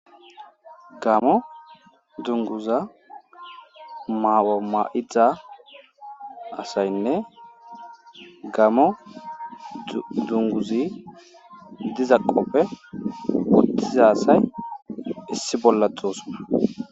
Gamo dunguza maoma7ita asaynne gamo dunguzi dizaqoppe wottiza asay issi bollatosona.